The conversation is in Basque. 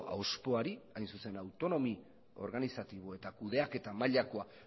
auzpoari hain zuzen autonomia organizatibo eta kudeaketa mailakoa